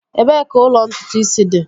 Ebee ka ụlọ ntutu isi dị?